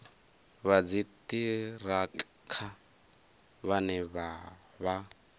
vha dziṱhirakha vhane vha vha